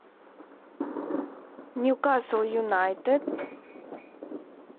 ньюкасл юнайтед